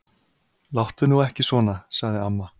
Láttu nú ekki svona. sagði amma.